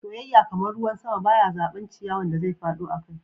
Soyayya, kaman ruwan sama, ba ya zaba ciyawan da zai fado akai.